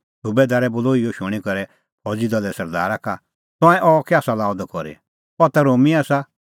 सुबैदारै बोलअ इहअ शूणीं करै फौज़ी दले सरदारा का तंऐं अह कै आसा लाअ द करी अह ता रोमी आसा